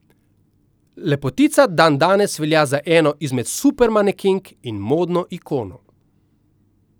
Lepotica dandanes velja za eno izmed supermanekenk in modno ikono.